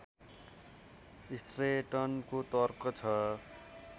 स्ट्रेटनको तर्क छ